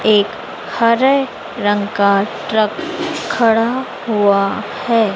एक हरे रंग का ट्रक खड़ा हुआ है।